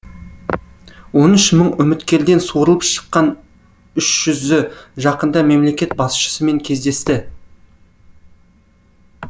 он үш мың үміткерден суырылып шыққан үш жүзі жақында мемлекет басшысымен кездесті